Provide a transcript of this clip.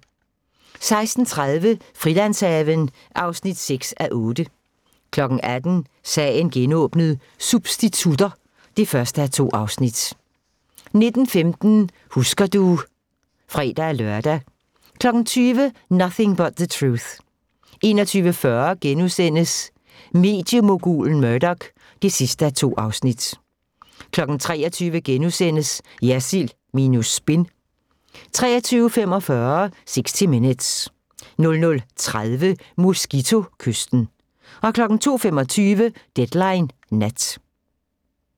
16:30: Frilandshaven (6:8) 18:00: Sagen genåbnet: Substitutter (1:2) 19:15: Husker du ... (fre-lør) 20:00: Nothing but the Truth 21:40: Mediemogulen Murdoch (2:2)* 23:00: Jersild minus spin * 23:45: 60 Minutes 00:30: Mosquito-kysten 02:25: Deadline Nat